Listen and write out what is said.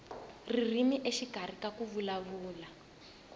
ririmi exikarhi ka ku vulavula